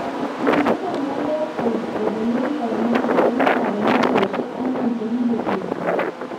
kisindan Wenger kopelen Koeman en kapelisiosiek angwan chegigosirta